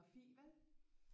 Geografi vel